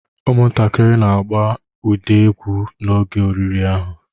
Ụmụntakịrị nọ na-agba ụda egwu n'oge oriri ahụ.